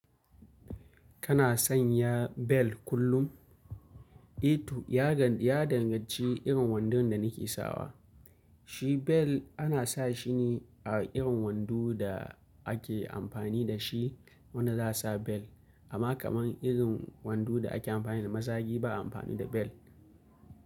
Kana sanya bel kullum? Eh toh, ya danganci irin wandon da nike sawa. Shi bel ana sa shi ne a irin wando da ake amfani da shi wanda za a sa bel. Amma kaman irin wando da ake amfani da mazagi ba'a amfani da bel.